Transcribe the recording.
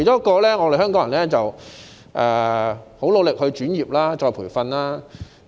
其間，香港人十分努力轉業，接受再培訓。